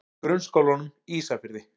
Grunnskólanum Ísafirði